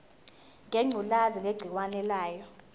ngengculazi negciwane layo